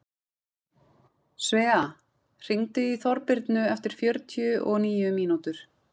Svea, hringdu í Þorbirnu eftir fjörutíu og níu mínútur.